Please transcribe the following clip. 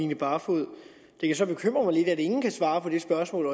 line barfod det kan så bekymre mig lidt at øjensynligt ingen kan svare på det spørgsmål